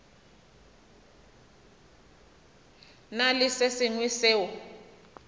na le se sengwe seo